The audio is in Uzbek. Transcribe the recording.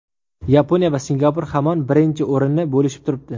Yaponiya va Singapur hamon birinchi o‘rinni bo‘lishib turibdi.